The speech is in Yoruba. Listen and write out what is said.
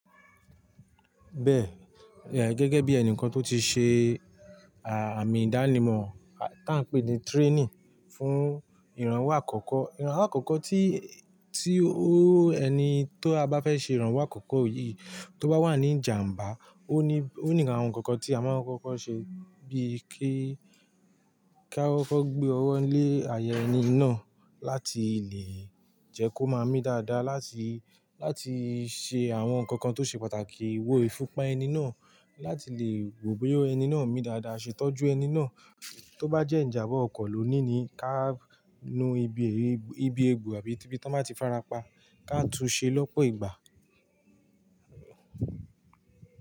Bẹ́ẹ̀, yeah gẹ́gẹ́ bí ẹnìkan tó ti ṣe àmì ìdánimọ̀ tá ń pè ní training fún ìrànwọ́ àkọ́kọ́. Ìrànwọ́ àkọ́kọ́ tí, tí ó ẹni tó a bá fẹ́ ṣe ìrànwọ́ àkọ́kọ́ yìí tó bá wà ní ìjàmbá, ó ní, ó ní àwọn nǹkan kan tí a máa fẹ́ kó ṣe bíi kí, kí a fẹ́ kó gbé ọwọ́ lé ayẹyẹ ẹni náà láti lè jẹ́ kó máa mí dáadáa láti, láti ṣe àwọn nǹkan kan tó ṣe pàtàkì wó ẹfun, pa ẹni náà, láti lè wo pé ó ẹni náà ń mí dáadáa, ṣe ìtọ́jú ẹni náà. Tó bá jẹ́ ìjàmbá ọkọ̀ lóní ni ká nu ibi, ibi egbò àbí ibi tó bá ti fara pa, ká tun ṣe lọ́pọ̀ ìgbà.